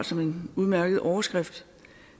som en udmærket overskrift